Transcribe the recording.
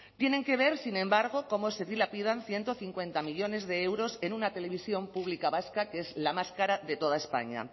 tienen que ver sin embargo como se dilapidan ciento cincuenta millónes de euros en una televisión pública vasca que es la más cara de toda españa